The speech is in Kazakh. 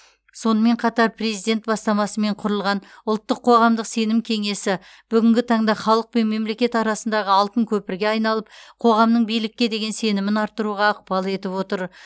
сонымен қатар президент бастамасымен құрылған ұлттық қоғамдық сенім кенесі бүгінгі таңда халық пен мемлекет арасындағы алтын көпірге айналып қоғамның билікке деген сенімін арттыруға ықпал етіп отыр